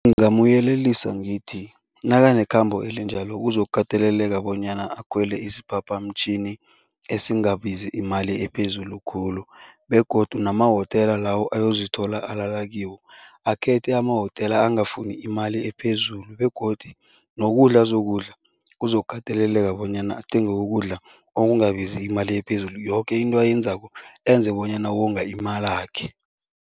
Ngingamyelelisa ngithi, nakanekhambo elinjalo kuzokukateleleka bonyana akhwele isiphaphamtjhini esingabizi imali ephezulu khulu begodu namahotela lawo ayozithola alala kiwo, akhethe emahotela angafuni imali ephezulu begodu nokudla azokudla kuzokukateleleka bonyana athenge ukudla okungabizi imali ephezulu, yoke into ayenzako enze bonyana wonga imalakhe.